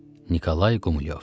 Nikolay Qumilyov.